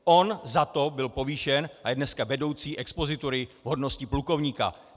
On za to byl povýšen a je dneska vedoucí expozitury v hodnosti plukovníka.